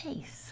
É isso.